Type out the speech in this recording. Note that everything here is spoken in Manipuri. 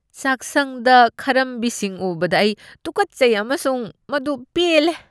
ꯆꯥꯛꯁꯪꯗ ꯈꯔꯝꯕꯤꯁꯤꯡ ꯎꯕꯅ ꯑꯩ ꯇꯨꯀꯠꯆꯩ ꯑꯃꯁꯨꯡ ꯃꯗꯨ ꯄꯦꯜꯂꯦ꯫